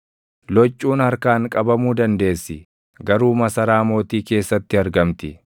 loccuun harkaan qabamuu dandeessi; garuu masaraa mootii keessatti argamti.